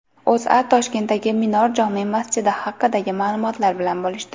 O‘zA Toshkentdagi Minor jome masjidi haqidagi ma’lumotlar bilan bo‘lishdi .